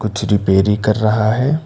कुछ रिपेरी कर रहा है।